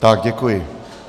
Tak děkuji.